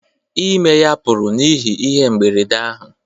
Ime ya pụrụ n’ihi ihe mberede ahụ